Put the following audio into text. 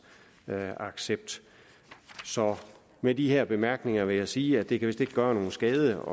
accept med de her bemærkninger vil jeg sige at det kan gøre nogen skade